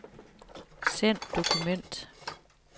Send dokument.